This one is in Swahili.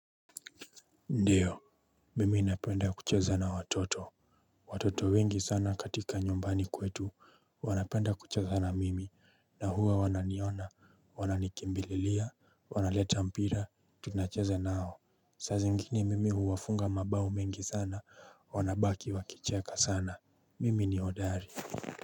Ndiyo, mimi inapenda kucheza na watoto. Watoto wengi sana katika nyumbani kwetu, wanapenda kucheza na mimi, na huwa wananiona, wananikimbililia, wanaleta mpira, tunacheza nao. Saa zingine mimi huwafunga mabao mengi sana, wanabaki wakicheka sana. Mimi ni hodari.